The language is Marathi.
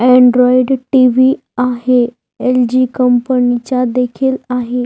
Android TV. आहे एल जी कंपनी चा देखील आहे.